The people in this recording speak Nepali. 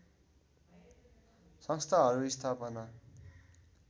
संस्थाहरू स्थापना